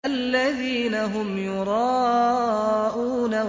الَّذِينَ هُمْ يُرَاءُونَ